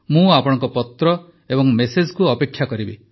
ମୁଁ ଆପଣଙ୍କ ପତ୍ର ଏବଂ ମେସେଜକୁ ଅପେକ୍ଷା କରିବି